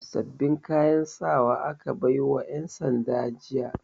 Sababbin kayan sawa aka bai wa 'yansanda jiya.